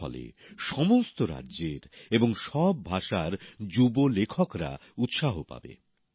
এর ফলে সমস্ত রাজ্যের এবং সব ভাষার যুব লেখকরা উৎসাহ পাবেন